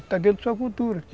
Está dentro da sua cultura.